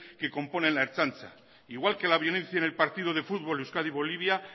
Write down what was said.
que componen la ertzaintza igual que la violencia en el partido de fútbol euskadi bolivia